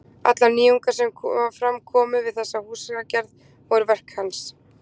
Allar nýjungar sem fram komu við þessa húsagerð voru verk hans.